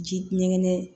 Ji ɲɛgɛn